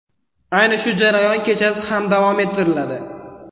Ayni shu jarayon kechasi ham davom ettiriladi.